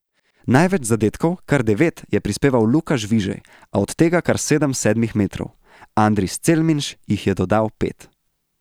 Največ zadetkov, kar devet, je prispeval Luka Žvižej, a od tega kar sedem s sedmih metrov, Andris Celminš jih je dodal pet.